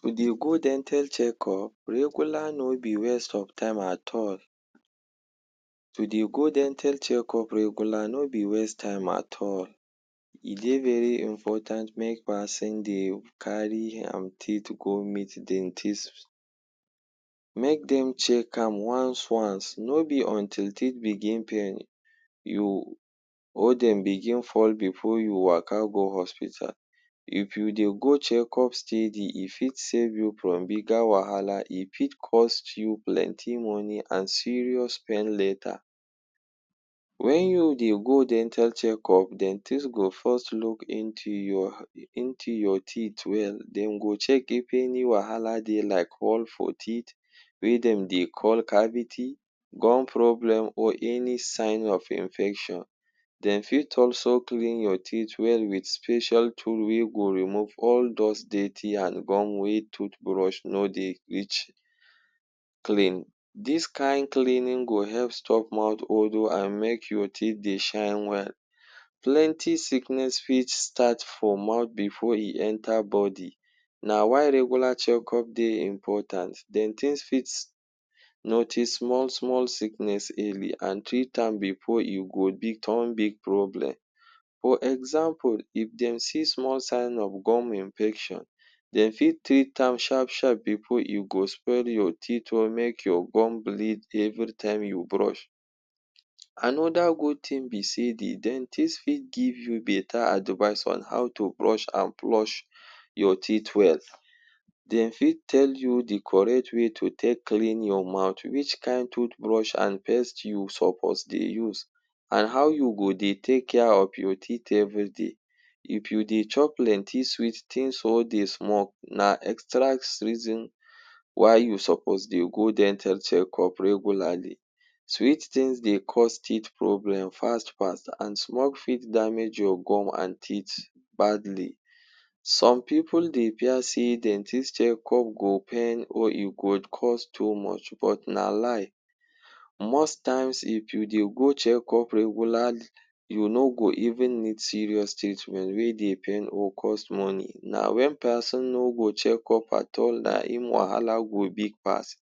To dey go dental checkup regular no be waste of time at all. To dey go dental checkup regular no be waste time at all. E dey very imfortant make peson dey carry am teeth go meet dentist. Make dem check am once once, no be until teet begin pain you or dem begin fall before you waka go hospital. If you dey go checkup steady e fit save you from bigger wahala e fit cost you plenty money an serious pain later. Wen you dey go dental checkup, dentist go first look into your into your teeth well. Dem go check if any wahala dey like hole for teeth wey dem dey call cavity, gum problem or any sign of infection. Dem fit also clean your teeth well with special tool wey go remove all dos dirty an gum wey toothbrush no dey reach clean. Dis kain cleaning go help stop mouth odour an make your teeth dey shine well. Plenty sickness fit start for mouth before e enter body. Na why regular checkup dey important. Dentist fit notice small small sickness early an treat am before e go be turn big problem. For example, if dem see small sign of gum infection, dem fit treat am sharp sharp before e go spoil your teet or make your gum bleed every time you brush. Anoda good tin be sey the dentist fit give you beta advice on how to brush an flush your teet well. Dem fit you the correct way to take clean your mouth —which kain toothbrush an paste you suppose dey use, an how you go dey take care of your teet everyday. If you dey chop plenty sweet tins or dey smoke, na extra swreason why you suppose dey go dental checkup regularly. Sweet tins dey cause teet problem fast fast an smoke for damage your gum an teet badly. Some pipu dey fear sey dentist checkup go pain or e go cause too much, but na lie. Most times, if you dey go checkup regularly, you no go even need serious treatment wey dey pain or cost money. Na wen peson no go checkup at all na im wahala go big pass.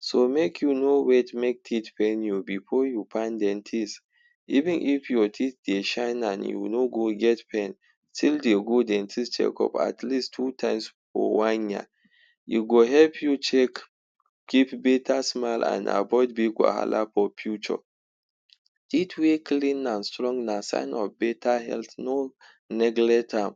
So make you no wait make teeth pain you before you find dentist. Even if your teeth dey shine an you no go get pain, still dey go dentist checkup at least two times for one year. You go help you check, keep beta smile, an avoid big wahala for phuture. Teet wey clean an strong na sign of beta health. No neglect am.